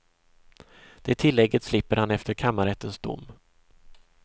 Det tilllägget slipper han efter kammarrättens dom.